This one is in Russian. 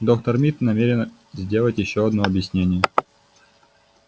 доктор мид намерен сделать ещё одно объяснение